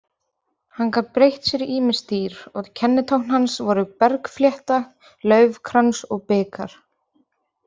Hann gat breytt sér í ýmis dýr og kennitákn hans voru bergflétta, laufkrans og bikar.